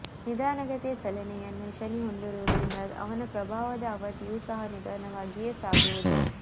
ನಿಧಾನ ಗತಿಯ ಚಲನೆಯನ್ನು ಶನಿ ಹೊಂದಿರುವುದರಿಂದ ಅವನ ಪ್ರಭಾವದ ಅವಧಿಯು ಸಹ ನಿಧಾನವಾಗಿಯೇ ಸಾಗುವುದು